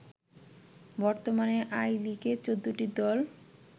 বর্তমানে আই লিগে ১৪ টি দল